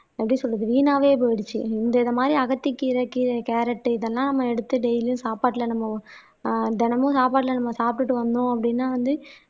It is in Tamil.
எப்படி சொல்றது வீணாவே போயிடுச்சு இந்த மாதிரி அகத்திக்கீரை கீரை கேரட் இதெல்லாம் நம்ம எடுத்து டெய்லியும் சாப்பாட்டுல நம்ம ஆஹ் தினமும் சாப்பாட்டுல நம்ம சாப்பிட்டுட்டு வந்தோம் அப்படின்னா வந்து